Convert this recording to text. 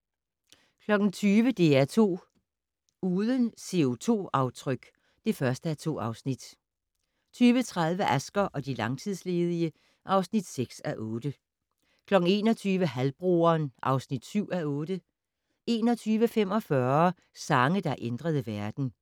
20:00: DR2 Uden CO2-aftryk (1:2) 20:30: Asger og de langtidsledige (6:8) 21:00: Halvbroderen (7:8) 21:45: Sange, der ændrede verden